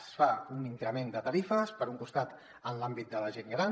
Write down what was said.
es fa un increment de tarifes per un costat en l’àmbit de la gent gran